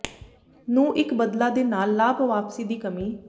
ਨੂੰ ਇੱਕ ਬਦਲਾ ਦੇ ਨਾਲ ਲਾਭ ਵਾਪਸੀ ਦੀ ਕਮੀ